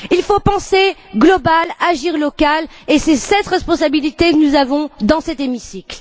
Il faut penser global, agir local et c'est cette responsabilité que nous avons dans cet hémicycle.